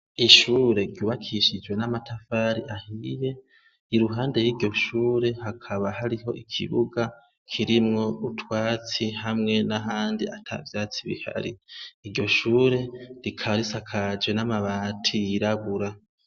Ishure rubakishijwe n'amatafari ahiye i ruhande y'iryoshure hakaba hariho ikibuga kirimwo utwatsi hamwe na handi ata vyatsi bihari iryo shure rikarisa kaje n'amabati yirabura.